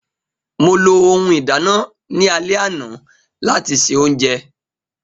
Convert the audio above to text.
Mo lo ohun ìdánà ni alẹ ana lati ṣe ounjẹ.